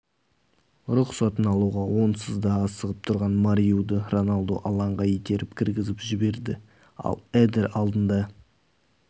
рұқсатын алуға онсыз да асығып тұрған мариуды роналду алаңға итеріп кіргізіп жіберді ал эдер алдында